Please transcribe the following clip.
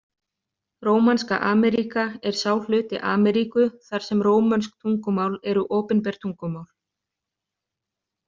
Rómanska Ameríka er sá hluti Ameríku þar sem rómönsk tungumál eru opinber tungumál.